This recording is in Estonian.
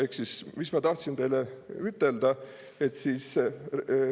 Ehk siis, mis ma tahtsin teile ütelda?